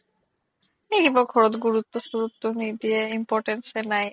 এহ সেইবোৰ ঘৰত গুৰোত্তো চুৰোত্তো নিদিয়ে importance য়ে নাই